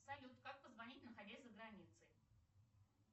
салют как позвонить находясь за границей